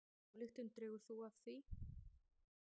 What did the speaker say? Hvaða ályktun dregur þú af því?